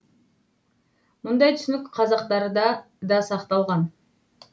мұндай түсінік қазақтарда да сақталған